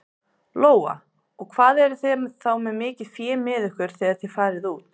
Lóa: Og hvað eruð þið þá með mikið fé með ykkur þegar þið farið út?